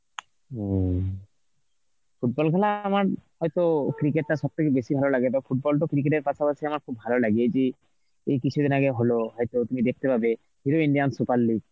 হম, football খেলা আমার, হয়তো cricket টা সবথেকে বেশি ভালো লাগে তাও football টো cricket এর পাশাপাশি আমার খুব ভালো লাগে যে এই কিছুদিন আগে হল হয়তো তুমি দেখতে পাবে Hero Indian super league.